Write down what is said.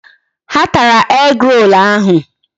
Ha tara egg-roll ahụ.